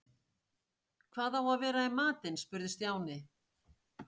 Hvað á að vera í matinn? spurði Stjáni.